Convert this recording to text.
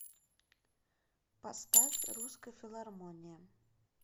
поставь русская филармония